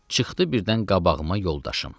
Çıxdı birdən qabağıma yoldaşım.